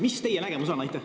Mis teie nägemus on?